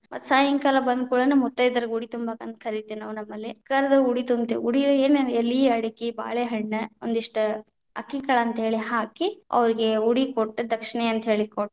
ಮತ್ ಸಾಯಂಕಾಲ ಬಂದಕುಳೇನೇ ಮುತೈದೆಯರಿಗ ಉಡಿ ತುಂಬಾಕ ಅಂತ ಕರಿತೇವಿ ನಾವ್ ನಮ್ಮಲ್ಲಿ, ಕರದ್ ಉಡಿ ತುಂಬತೇವಿ ಉಡಿ ಎ~ ಏನ್‌ ಎಲಿ, ಅಡಕಿ, ಬಾಳೆಹಣ್ಣ ಒಂದಿಷ್ಟ ಅಕ್ಕಿಕಾಳ ಅಂತ ಹೇಳಿ ಹಾಕಿ, ಅವ್ರೀಗೆ ಉಡಿ ಕೊಟ್ಟು ದಕ್ಷಿಣೆ ಅಂತ ಹೇಳಿ ಕೊಟ್ಟು.